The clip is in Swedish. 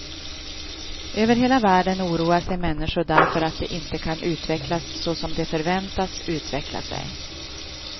Över hela världen oroar sig människor därför att de inte kan utvecklas så som de förväntas utveckla sig.